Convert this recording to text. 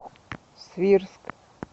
свирск